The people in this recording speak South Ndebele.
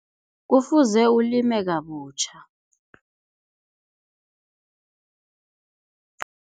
Kufuze ulime kabutjha.